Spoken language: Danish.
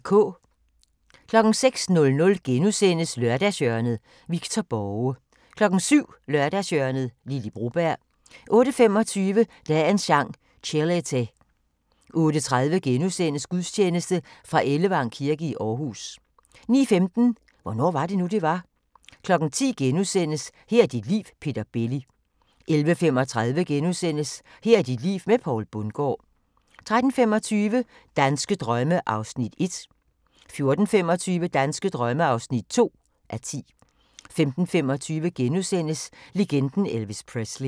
06:00: Lørdagshjørnet – Victor Borge * 07:00: Lørdagshjørnet - Lily Broberg 08:25: Dagens Sang: Chelete 08:30: Gudstjeneste fra Ellevang kirke i Aarhus * 09:15: Hvornår var det nu, det var? 10:00: Her er dit liv – Peter Belli * 11:35: Her er dit liv med Poul Bundgaard * 13:25: Danske drømme (1:10) 14:25: Danske drømme (2:10) 15:25: Legenden Elvis Presley *